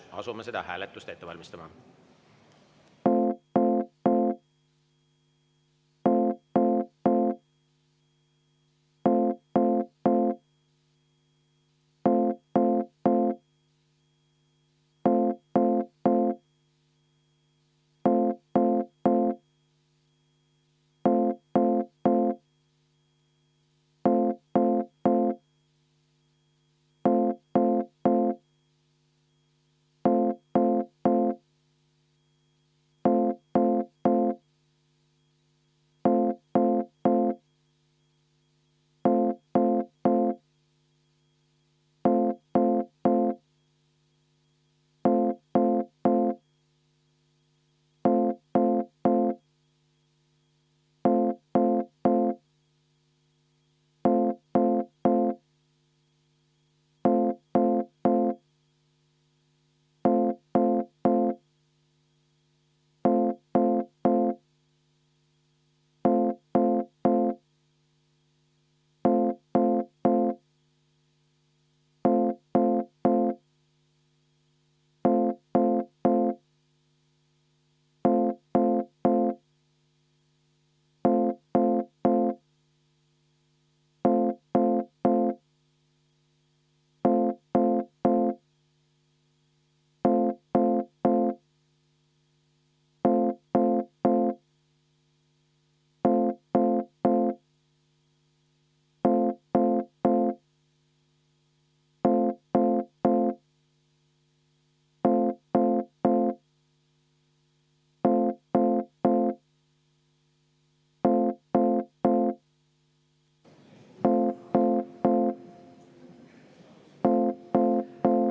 Asume seda hääletust ette valmistama.